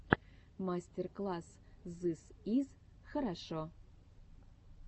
мастер класс зыс из хорошо